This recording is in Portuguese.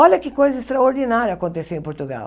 Olha que coisa extraordinária aconteceu em Portugal.